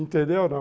Entendeu, não?